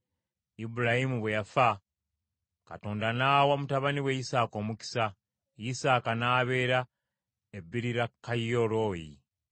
Ibulayimu bwe yafa, Katonda n’awa mutabani we Isaaka omukisa, Isaaka n’abeera e Beerirakayiroyi.